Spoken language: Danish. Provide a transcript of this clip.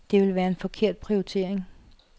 Det ville være en forkert prioritering.